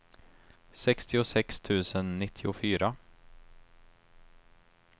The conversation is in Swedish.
sextiosex tusen nittiofyra